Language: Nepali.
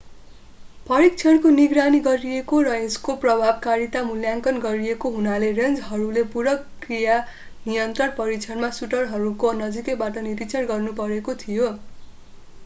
परीक्षणको निगरानी गरिएको र यसको प्रभावकारिताको मूल्याङ्कन गरिएको हुनाले रेन्जरहरूले पूरक कीरा नियन्त्रण परीक्षणमा सुटरहरूको नजिकैबाट निरीक्षण गर्नुपरेको थियो